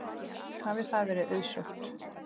Hafi það verið auðsótt.